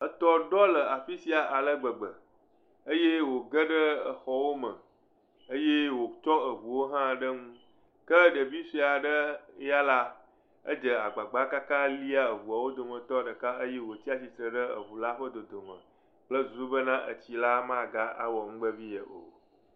Etɔ ɖɔ le afi sia ale gbegbe eye wogeɖe xɔwo me eye wotsɔ eŋuwo hã ɖe nu ke ɖevi sue aɖe ya la, edze agbagba kaka lia ŋua wo dometɔ ɖeka eye wotsi tsitre ɖe ŋu la ƒe dodome kple susu bena etsi la magawɔ nu vevi ye o.